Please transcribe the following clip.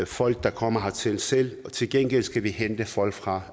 folk der kommer hertil selv til gengæld skal vi hente folk fra